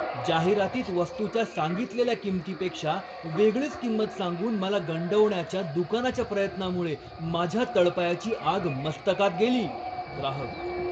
जाहिरातीत वस्तूच्या सांगितलेल्या किंमतीपेक्षा वेगळीच किंमत सांगून मला गंडवण्याच्या दुकानाच्या प्रयत्नामुळे माझ्या तळपायाची आग मस्तकात गेली. ग्राहक